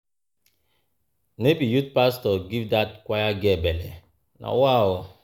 No be youth pastor give dat choir girl belle? Na wa o.